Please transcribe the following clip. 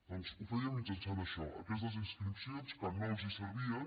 doncs ho feien mitjançant això aquestes inscripcions que no els servien